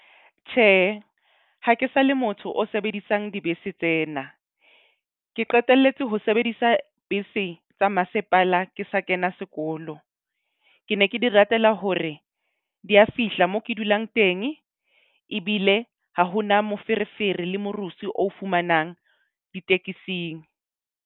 Tjhe, ha ke sa le motho o sebedisang dibese tsena. Ke qetelletse ho sebedisa bese tsa masepala ke sa kena sekolo. Ke ne ke di ratela hore di a fihla mo ke dulang teng. Ebile ha hona moferefere le morusu o fumanang ditekesing.